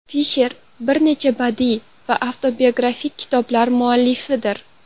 Fisher bir necha badiiy va avtobiografik kitoblar muallifidir.